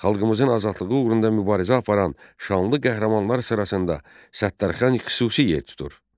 Xalqımızın azadlığı uğrunda mübarizə aparan şanlı qəhrəmanlar sırasında Səttarxan xüsusi yer tutur.